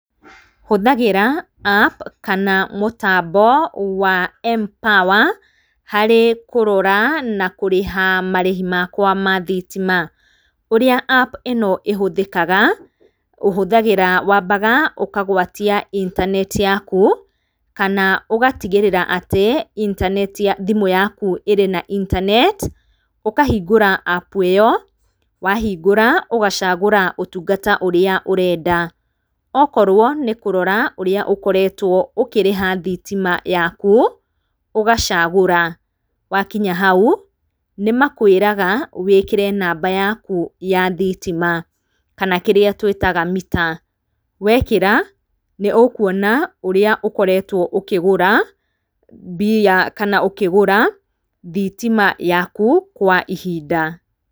Hũthagĩra app kana mũtambo wa M_power harĩ kũrora na kũrĩha marĩhĩ makwa ma thitima, ũrĩa app ĩno ĩhũthĩkaga, ũhũthagĩra wambaga ũkagwatia intaneti yakũ kana ũgatigĩrĩra atĩ intaneti ya thimu yakũ ĩrĩ na intaneti ukahĩngũra app ĩyo wahĩngũra ũgacagũra ũtũngata ũrĩa ũrenda, okorwo nĩkũrora ũrĩa ũkoretwo ũkĩrĩha thitima yakũ ũgacagũra wakĩnya haũ nĩmakwĩraga wĩkĩre namba yakũ ya thitima, kana kĩrĩa twĩtaga mita, wĩkĩra nĩũkuona ũria ũkoretwo ũkĩgũra mbia, kana ũkĩgũra thitima yakũ kwa ihinda.